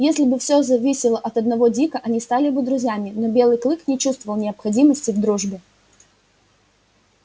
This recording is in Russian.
если бы все зависело от одного дика они стали бы друзьями но белый клык не чувствовал необходимости в дружбе